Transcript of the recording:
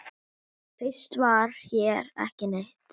Fyrst var hér ekki neitt.